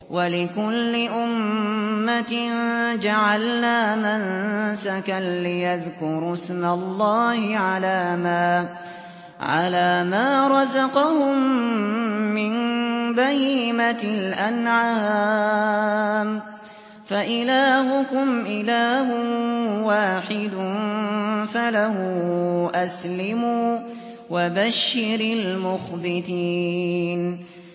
وَلِكُلِّ أُمَّةٍ جَعَلْنَا مَنسَكًا لِّيَذْكُرُوا اسْمَ اللَّهِ عَلَىٰ مَا رَزَقَهُم مِّن بَهِيمَةِ الْأَنْعَامِ ۗ فَإِلَٰهُكُمْ إِلَٰهٌ وَاحِدٌ فَلَهُ أَسْلِمُوا ۗ وَبَشِّرِ الْمُخْبِتِينَ